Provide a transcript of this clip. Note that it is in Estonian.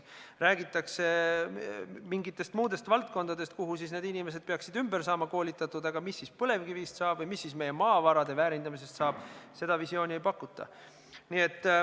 Räägitakse mingitest muudest valdkondadest, mille jaoks need inimesed peaksid ümber saama koolitatud, aga mis siis põlevkivist saab või mis meie maavarade väärindamisest saab, seda visiooni ei pakuta.